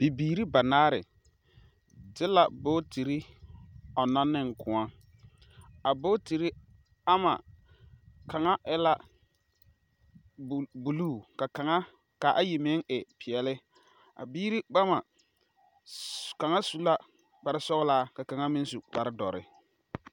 Bibiiri banaare de la bootire ɔŋnɔ ne koɔ,a booties ama kaŋa e la buluu ka ayi meŋ e peɛle a biiri bama kaŋa su la kparesɔglaa ka kaŋa su kparedɔre